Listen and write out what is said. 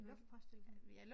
Luftpost eller sådan noget